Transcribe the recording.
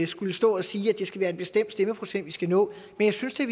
skulle stå og sige at det skal være en bestemt stemmeprocent vi skal nå men jeg synes da